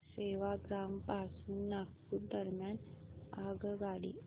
सेवाग्राम पासून नागपूर दरम्यान आगगाडी